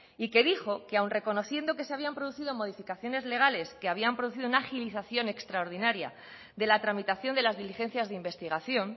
y que dijo que aún reconociendo que se habían producido modificaciones legales que habían producido una agilización extraordinaria de la tramitación de las diligencias de investigación